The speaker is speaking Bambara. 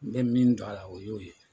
N bɛ min dɔ a la o y'o ye.